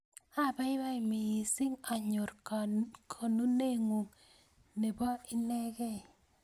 Apaipai missing' anyor konuneng'ung' ne po inekey.